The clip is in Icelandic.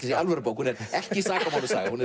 segja alvöru bók hún er ekki sakamálasaga hún er